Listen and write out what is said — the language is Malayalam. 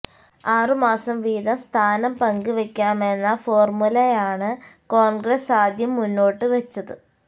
ആറു മാസം വീതം സ്ഥാനം പങ്കുവയ്ക്കാമെന്ന ഫോര്മുലയാണ് കോണ്ഗ്രസ് ആദ്യം മുന്നോട്ടുവെച്ചത്